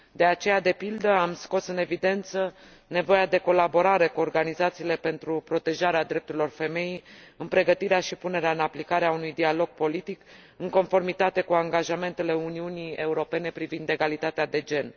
De aceea, de pildă, am scos în evidență nevoia de colaborare cu organizațiile pentru protejarea drepturilor femeii în pregătirea și punerea în aplicare a unui dialog politic, în conformitate cu angajamentele Uniunii Europene privind egalitatea de gen.